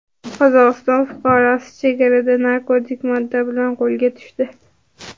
Qozog‘iston fuqarosi chegarada narkotik modda bilan qo‘lga tushdi.